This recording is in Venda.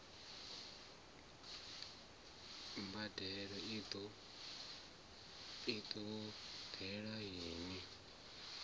mbadelo i ṱo ḓeaho i